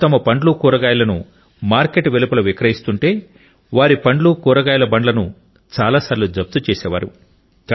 వారు తమ పండ్లు కూరగాయలను మార్కెట్ వెలుపల విక్రయిస్తుంటే వారి పండ్లు కూరగాయలు బండ్లను చాలాసార్లు జప్తు చేసేవారు